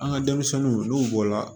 An ka denmisɛnninw n'u bɔla